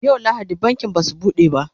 yau lahadi bankin Basu buɗe ba